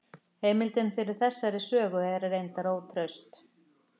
Heimildin fyrir þessari sögu er reyndar ótraust.